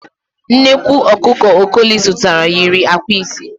Nnekwu ọkụkọ Okoli zụtara yiri ạ̀kwạ́ ise.